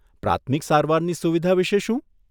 પ્રાથમિક સારવારની સુવિધા વિશે શું?